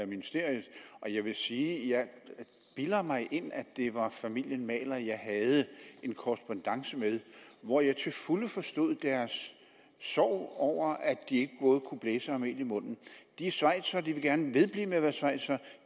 ministeriet og jeg vil sige at jeg bilder mig ind at det var familien mahler jeg engang havde en korrespondance med hvor jeg til fulde forstod deres sorg over at de ikke både kunne blæse og have mel i munden de er schweizere de vil gerne vedblive med at være schweizere